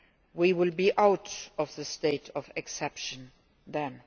We will be out of the state of exception then.